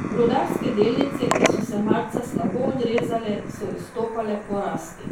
Rudarske delnice, ki so se marca slabo odrezale, so izstopale po rasti.